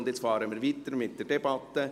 Nun fahren wir weiter mit der Debatte.